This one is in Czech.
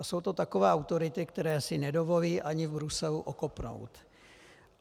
A jsou to takové autority, které si nedovolí ani v Bruselu okopnout.